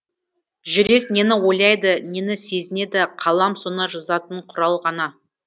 жүрек нені ойлайды нені сезінеді қалам соны жазатын құрал ғана